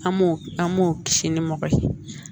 An m'o an m'o kisi ni mɔgɔ ye